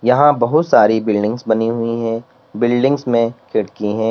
यहां बहुत सारी बिल्डिंग्स बनी हुई है बिल्डिंग्स में खिड़की है।